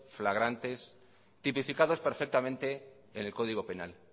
flagrantes tipificados perfectamente en el código penal